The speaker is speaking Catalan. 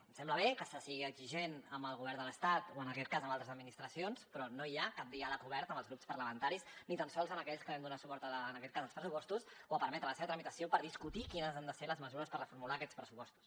em sembla bé que se sigui exigent amb el govern de l’estat o en aquest cas amb altres administracions però no hi ha cap diàleg obert amb els grups parlamentaris ni tan sols amb aquells que vam donar suport en aquest cas als pressupostos o a permetre la seva tramitació per discutir quines han de ser les mesures per reformular aquests pressupostos